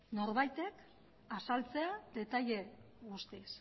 norbaitek azaltzea detaile guztiz